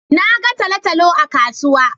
Na ga talo-talo a kasuwa.